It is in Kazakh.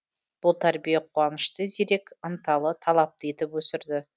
бұл тәрбие қуанышты зерек ынталы талапты етіп өсірді